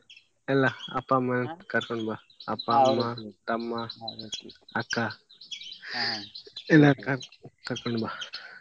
ಎಲ್ಲ ಅಪ್ಪ, ಅಮ್ಮ ಕರ್ಕೊಂಡು ಬಾ ಅಪ್ಪ, ಅಮ್ಮ ತಮ್ಮ, ಅಕ್ಕ ಕರ್ಕೊಂಡು ಬಾ.